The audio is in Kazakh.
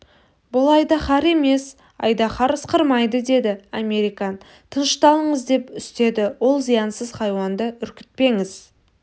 бұл айдаһар емес айдаһар ысқырмайды деді американ тынышталыңыз деп үстеді ол зиянсыз хайуанды үркітпеңіз